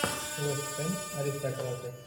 вест хэм аристократы